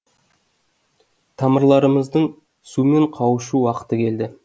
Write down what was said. тамырларымыздың сумен қауышу уақыты келді